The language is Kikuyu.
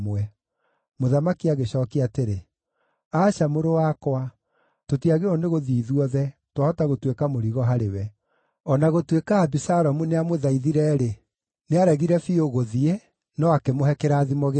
Mũthamaki agĩcookia atĩrĩ, “Aca, mũrũ wakwa. Tũtiagĩrĩirwo nĩ gũthiĩ ithuothe; twahota gũtuĩka mũrigo harĩwe.” O na gũtuĩka Abisalomu nĩamũthaithire-rĩ, nĩaregire biũ gũthiĩ, no akĩmũhe kĩrathimo gĩake.